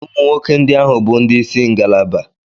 Ụmụ nwoke ndị ahụ bụ ndị isi ngalaba.